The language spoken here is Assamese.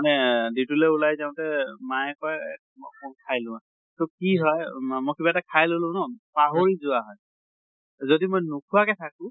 নে duty লৈ যাওতে মায়ে কয় অকন খাই লোৱা। তʼ কি হয় মা মই কিবা এটা খাই ললো ন, পাহৰি যোৱা হয়। যদি মই নোখোৱাকে থাকো,